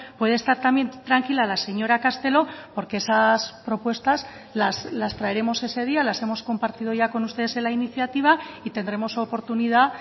puede estar también tranquila la señora castelo porque esas propuestas las traeremos ese día las hemos compartido ya con ustedes en la iniciativa y tendremos oportunidad